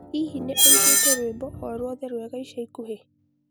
Hihi nĩ ũiguĩte rwĩmbo o rwothe rwega ica ikuhĩ